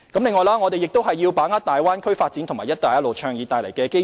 此外，我們亦要把握大灣區發展及"一帶一路"倡議帶來的機遇。